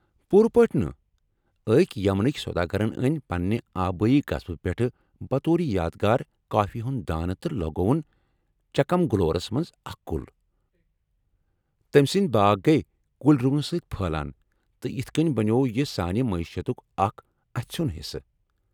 پوٗرٕ پٲٹھۍ نہٕ! أكۍ یمنٕكۍ سوداگرن أنۍ پنٛنہِ آبٲیی قصبہٕ پٮ۪ٹھٕہ بطور یادگار کافی ہٕنٛدۍ دانہ تہٕ لگووُن چِکمگلورس منٛز اکھ کُل ، تمہِ سٕندۍ باغ گیہ كُلۍ روٗنہٕ سۭتۍ پھٔہلان ، تہٕ یِتھہٕ كٕنۍ بنیوو یہٕ سانہِ معیشتُک اکھ اَژھیٚن حصہٕ ۔